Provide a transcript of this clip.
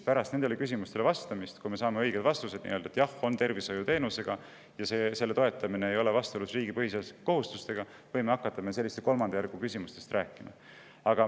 Pärast nendele küsimustele vastamist, kui me saame õiged vastused – jah, tegemist on tervishoiuteenusega ja selle toetamine ei ole vastuolus riigi põhiseaduslike kohustustega –, võime hakata rääkima sellistest kolmanda järgu küsimustest.